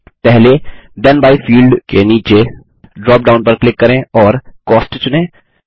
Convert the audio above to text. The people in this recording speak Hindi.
पहले थेन बाय फील्ड के नीचे ड्रॉप डाउन पर क्लिक करें और कॉस्ट चुनें